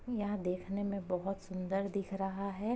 यहां देखने में बहुत सुंदर दिख रहा है।